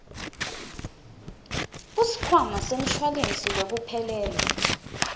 kusikhwama semshuwalensi wekuphelelwa